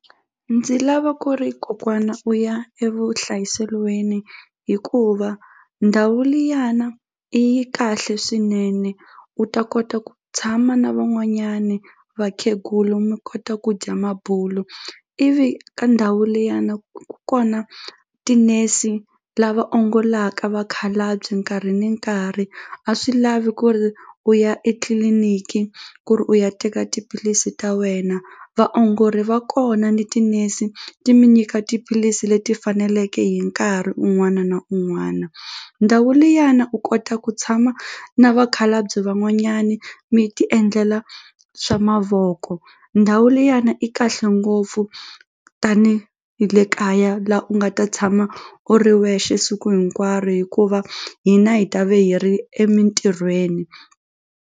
Ndzi lava ku ri kokwana u ya evuhlayiselweni hikuva ndhawu liyana i yi kahle swinene u ta kota ku tshama na van'wanyani vakhegulu mi kota ku dya mabulu ivi ka ndhawu liyana ku kona ti-nurse la va ongolaka vakhalabye nkarhi ni nkarhi a swi lavi ku ri u ya etliliniki ku ri u ya teka tiphilisi ta wena vaongori va kona ni tinese ti mi nyika tiphilisi leti faneleke hi nkarhi un'wana na un'wana ndhawu liyana u kota ku tshama na vakhalabye van'wanyani mi ti endlela swa mavoko ndhawu liyani i kahle ngopfu tani hi le kaya la u nga ta tshama u ri wexe siku hinkwaro hikuva hina hi ta ve hi ri emintirhweni.